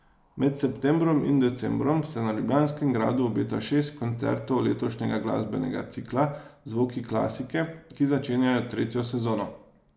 Med septembrom in decembrom se na Ljubljanskem gradu obeta šest koncertov letošnjega glasbenega cikla Zvoki klasike, ki začenja tretjo sezono.